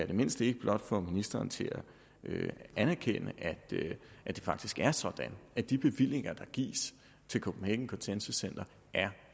det mindste ikke få ministeren til at anerkende at det faktisk er sådan at de bevillinger der gives til copenhagen consensus center er